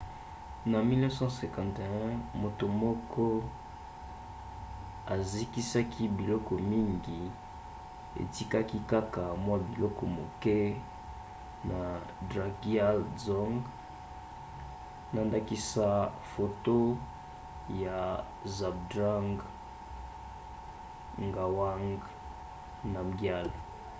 na 1951 moto moko ezikisaki biloko mingi etikaki kaka mwa biloko moke na drukgyal dzong na ndakisa foto ya zhabdrung ngawang namgyal